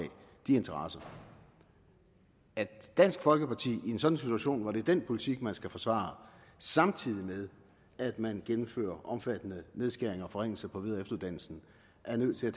de interesser at dansk folkeparti i en sådan situation hvor det er den politik man skal forsvare samtidig med at man gennemfører omfattende nedskæringer og forringelser på videre og efteruddannelsen er nødt til at